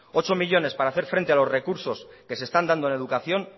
ocho millónes para hacer frente a los recursos que se están dando en educación